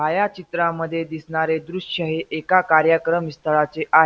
छायाचित्रामध्ये दिसणारे दृश्य हे एका कार्यक्रम स्थळाचे आ --